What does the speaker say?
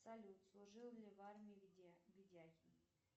салют служил ли в армии ведехин